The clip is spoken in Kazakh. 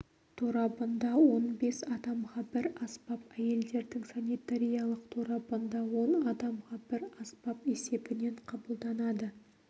торабында он бес адамға бір аспап әйелдердің санитариялық торабында он адамға бір аспап есебінен қабылданады